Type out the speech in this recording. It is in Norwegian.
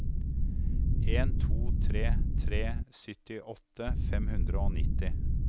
en to tre tre syttiåtte fem hundre og nitti